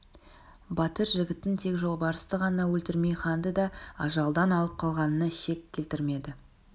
батыр жігіттің тек жолбарысты ғана өлтірмей ханды да ажалдан алып қалғанына шек келтірмеді